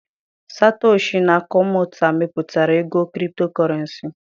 Satoshi nakomato mepụtara ego Kriptokurenci.